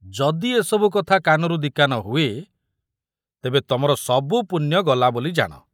ଯଦି ଏ ସବୁ କଥା କାନରୁ ଦି କାନ ହୁଏ ତେବେ ତମର ସବୁ ପୁଣ୍ୟ ଗଲାବୋଲି ଜାଣ।